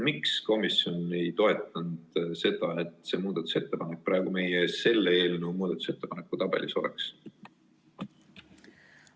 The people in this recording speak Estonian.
Miks komisjon ei toetanud seda, et see muudatusettepanek praegu meie ees selle eelnõu muudatusettepanekute tabelis oleks?